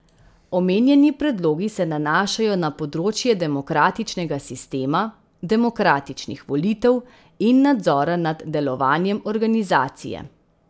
Omenjeni predlogi se nanašajo na področje demokratičnega sistema, demokratičnih volitev in nadzora nad delovanjem organizacije.